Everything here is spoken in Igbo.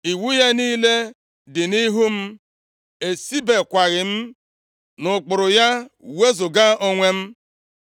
Iwu ya niile dị nʼihu m, esibekwaghị m nʼụkpụrụ ya wezuga onwe m.